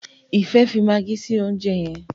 Ifẹ fí Maggie sí oúnjẹ yén.